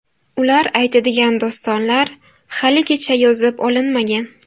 Ular aytadigan dostonlar haligacha yozib olinmagan.